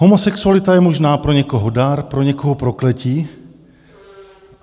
Homosexualita je možná pro někoho dar, pro někoho prokletí.